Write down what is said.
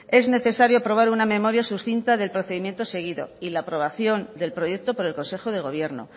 es necesario aprobar una memoria suscita del procedimiento seguido y la aprobación del proyecto por el consejo de gobierno